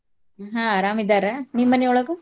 ಹ್ಮ್ ಅರಾಮ್ ಇದ್ದಾರ ನಿಮ್ ಮನಿ ಒಳ್ಗ?